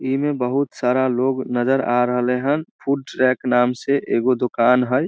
इ में बहुत सारा लोग नजर आ रहले हन फ़ूड ट्रैक्स के नाम से एगो दुकान हई।